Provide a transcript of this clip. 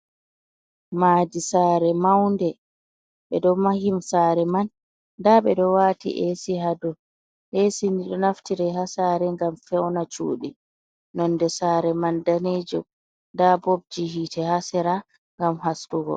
Madi saare maunde ɓe ɗo mahi saare man nda ɓe ɗo wati esi ha dow, esi ni ɗo naftira ha saare ngam feuna cudi, nonde saare man danejum nda bobji hite ha sera ngam haskugo.